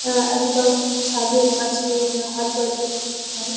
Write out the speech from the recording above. আহ একদম ছাদের কাছে আমরা হাত বারিয়ে লিচু খাই।